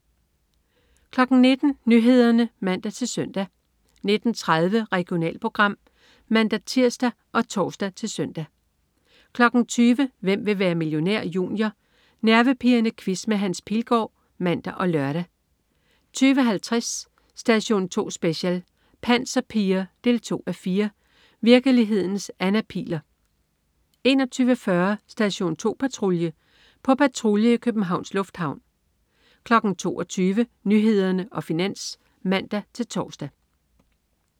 19.00 Nyhederne (man-søn) 19.30 Regionalprogram (man-tirs og tors-søn) 20.00 Hvem vil være millionær? Junior. Nervepirrende quiz med Hans Pilgaard (man og lør) 20.50 Station 2 Special: Panserpiger 2:4. Virkelighedens Anna Pihl'er 21.40 Station 2 Patrulje. På patrulje i Københavns Lufthavn 22.00 Nyhederne og Finans (man-tors)